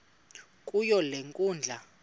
kuyo le nkundla